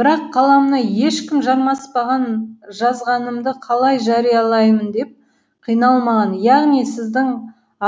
бірақ қаламына ешкім жармаспаған жазғанымды қалай жариялаймын деп қиналмаған яғни сіздің